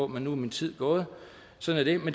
men nu er min tid gået sådan er